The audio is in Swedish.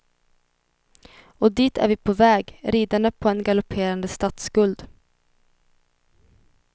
Och dit är vi på väg, ridande på en galopperande statsskuld.